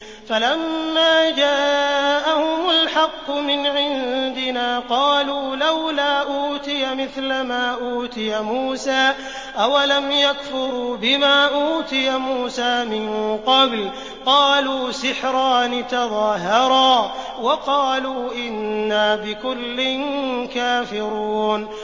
فَلَمَّا جَاءَهُمُ الْحَقُّ مِنْ عِندِنَا قَالُوا لَوْلَا أُوتِيَ مِثْلَ مَا أُوتِيَ مُوسَىٰ ۚ أَوَلَمْ يَكْفُرُوا بِمَا أُوتِيَ مُوسَىٰ مِن قَبْلُ ۖ قَالُوا سِحْرَانِ تَظَاهَرَا وَقَالُوا إِنَّا بِكُلٍّ كَافِرُونَ